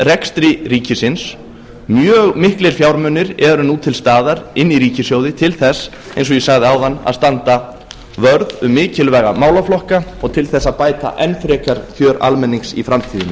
rekstri ríkisins mjög miklir fjármunir eru nú til staðar inni í ríkissjóði til þess eins og ég sagði áðan að standa vörð um mikilvæga málaflokka og til þess að bæta enn frekar kjör almennings í framtíðinni